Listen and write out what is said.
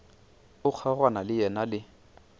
o kgaogana le yena le